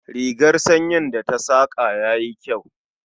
Rigar sanyin da ta saƙa yayi kyau